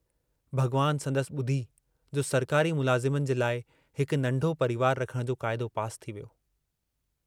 भगवान संदसि बुधी जो सरकारी मुलाज़िमन जे लाइ हिकु नन्ढो परिवार रखण जो काइदो पास थी वियो।